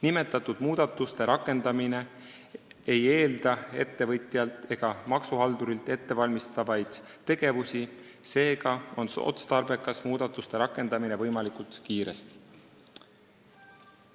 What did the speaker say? Nimetatud muudatuste rakendamine ei eelda ettevõtjalt ega maksuhaldurilt ettevalmistavaid tegevusi, seega on otstarbekas muudatusi rakendada võimalikult kiiresti.